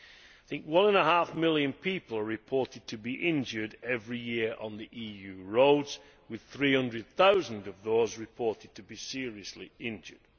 I think one and a half million people are reported to be injured every year on EU roads, with 300000 of those reported to be seriously injured.